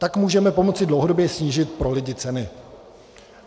Tak můžeme pomoci dlouhodobě snížit pro lidi ceny.